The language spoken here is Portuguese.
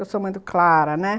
Eu sou mãe do Clara, né?